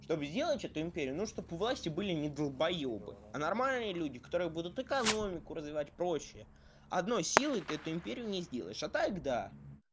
чтоб сделать эту империю но чтоб у власти были не долбоёбы а нормальные люди которые будут экономику развивать прочее одной силой ты эту империю не сделаешь а так когда